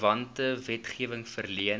verwante wetgewing verleen